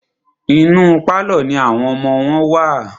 Inú pálọ̀ ní àwọn ọmọ wọn wà.